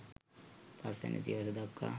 පස් වැනි සියවස දක්වා